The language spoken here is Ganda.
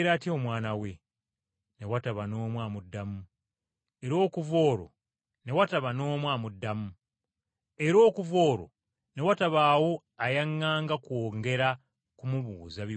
Ne wataba n’omu amuddamu, era okuva olwo ne watabaawo ayaŋŋanga kwongera kumubuuza bibuuzo birala.